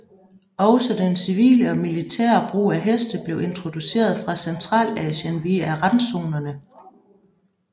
Også den civile og militære brug af heste blev introduceret fra Centralasien via randzonerne